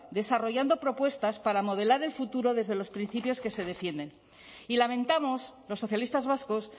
desarrollando propuestas para modelar el futuro desde los principios que se defienden y lamentamos los socialistas vascos